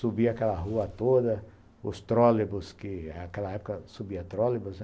Subia aquela rua toda, os trolleybus, que naquela época subia trolleybus, né?